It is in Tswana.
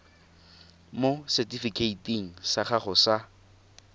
mo setifikeiting sa gago sa